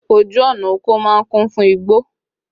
Ojú ọ̀nà oko máa ń kún fún igbó